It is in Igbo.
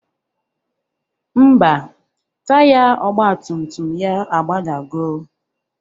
Ḿbà, taya ọgbatumtum ya agbadago.